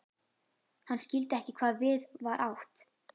Hann skildi ekki hvað við var átt.